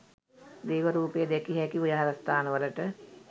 දේව රූප දැකිය හැකි විහාරස්ථානවලට